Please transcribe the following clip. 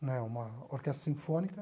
né uma orquestra sinfônica.